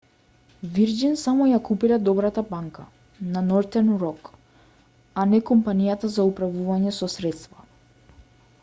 вирџин само ја купиле добрата банка на нортерн рок а не компанијата за управување со средства